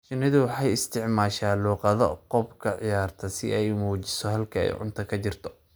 Shinnidu waxay isticmaashaa luqadda qoob-ka-ciyaarka si ay u muujiso halka ay cunto ka jirto.